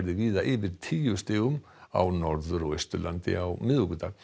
víða yfir tíu stigum á Norður og Austurlandi á miðvikudag